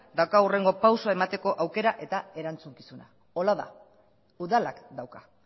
dauka hurrengo pausua emateko aukera eta erantzukizuna hola da udalak dauka